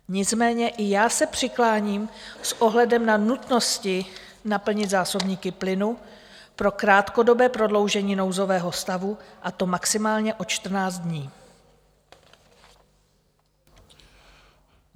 Nicméně i já se přikláním s ohledem na nutnost naplnit zásobníky plynu pro krátkodobé prodloužení nouzového stavu, a to maximálně o 14 dní.